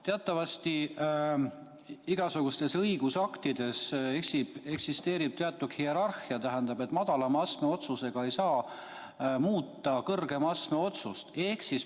Teatavasti igasuguste õigusaktide puhul eksisteerib teatud hierarhia: madalama astme otsusega ei saa muuta kõrgema astme otsust.